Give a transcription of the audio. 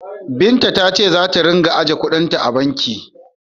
Binta ta ce za ta ringa ajiye kuɗin ta a banki.